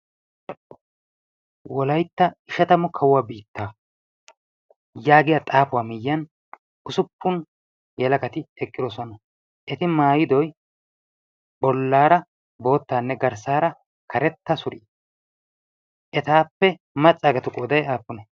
Wolaytta ishatamu kawuwaa biitta' yaagiya xaafuwaa miyyan usuppun halakati eqqidoosuwana eti maayidoy bollaara boottaanne garssaara karetta surii etaappe maccaagatu qooday aappune?